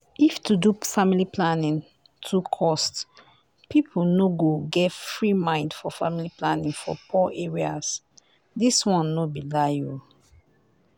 if to do family planning too cost people no go get free mind for family planning for poor areas. this no be lie o.